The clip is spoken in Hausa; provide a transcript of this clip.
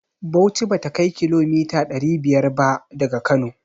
Bauchi bata kai kilomita ɗari biyar ba daga Kano.